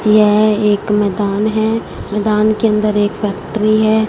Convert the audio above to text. यह एक मैदान है मैदान के अंदर एक फैक्ट्री है।